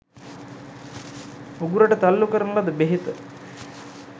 උගුරට තල්ලුකරන ලද බෙහෙත